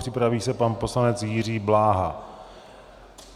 Připraví se pan poslanec Jiří Bláha.